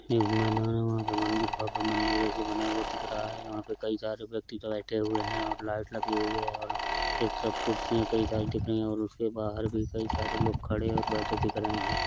एक मैदान हैंवहा पे मंदिर भव्य मंदिर जेसा बना हुआ दिख रहा है। वाहाँ पे कई सारे व्यक्ति बेठे हुए हैं और लाईट लगी हुई हैं ओर एक तरफ कुर्सियां कई सारी दिख रही हैं और उसके बाहर भी कई सारे लोग खड़े ओर बेठे दिख रहे हैं।